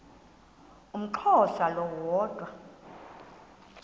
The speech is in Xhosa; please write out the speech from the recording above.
umxhosa lo woda